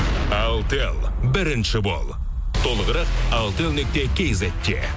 алтел бірінші бол толығырақ алтел нүкте кизетте